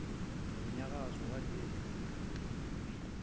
nomnyakazo walezi zigaxa